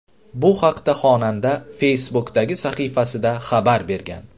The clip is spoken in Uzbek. Bu haqda xonanda Facebook’dagi sahifasida xabar bergan .